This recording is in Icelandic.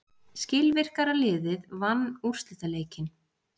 Skilvirkara liðið vann úrslitaleikinn.